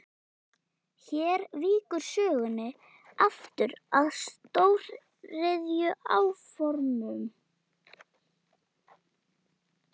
Hér víkur sögunni aftur að stóriðjuáformum.